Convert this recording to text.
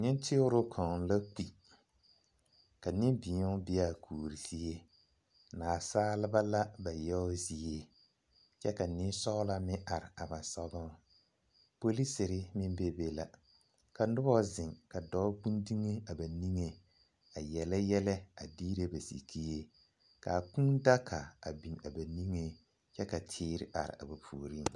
Nenteroŋ kaŋ la kpi ka nembeo be a kuori zie naasaaleba la ba yaŋ zie kyɛ ka nensɔɔlɔ meŋ are ba soɡaŋ polisiri meŋ bebe la ka noba zeŋ ka dɔɔ ɡbi dumo a ba niŋeŋ a yele yɛlɛ a diire ba sikyie ka a kūūdaga biŋ a ba niŋeŋ kyɛ ka teere are a ba puoriŋ.